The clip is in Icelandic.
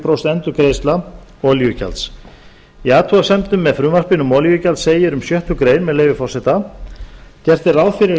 prósent endurgreiðsla olíugjalds í athugasemdum með frumvarpinu um olíugjald segir um sjöttu grein með leyfi forseta gert er ráð fyrir að